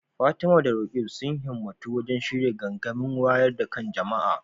Fatima da Roqeeb sun himmatu wajen shirya gangamin wayar da kan jama’a